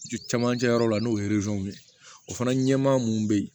Camancɛ yɔrɔ la n'o ye ye o fana ɲɛmaa mun bɛ yen